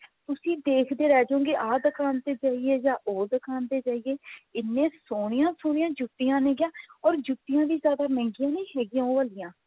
ਤੁਸੀਂ ਦੇਖਦੇ ਰਹਿ ਜਾਓਗੇ ਆਹ ਦੁਕਾਨ ਤੇ ਜਾਈਏ ਜਾ ਉਹ ਦੁਕਾਨ ਤੇ ਜਾਈਏ ਇੰਨੇ ਸੋਹਣਿਆ ਸੋਹਣਿਆ ਜੁੱਤੀਆਂ ਨੇ ਗਿਆ or ਜੁੱਤੀਆਂ ਵੀ ਜਿਆਦਾ ਮਹਿੰਗੀਆ ਨੀ ਹੈਗੀਆਂ ਉਹ ਵਾਲੀਆਂ